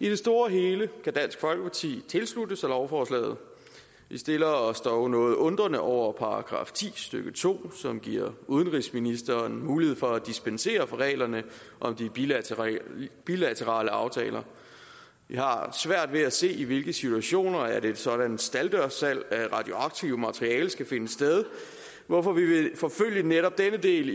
i det store hele kan dansk folkeparti tilslutte sig lovforslaget vi stiller os dog noget undrende over for § ti stykke to som giver udenrigsministeren mulighed for at dispensere fra reglerne om de bilaterale bilaterale aftaler vi har svært ved at se i hvilke situationer et sådant stalddørssalg af radioaktivt materiale skal finde sted hvorfor vi vil forfølge netop denne del